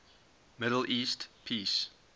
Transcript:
middle east peace